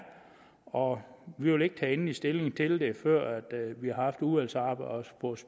og vi vil ikke tage endelig stilling til det før vi har haft udvalgsarbejdet og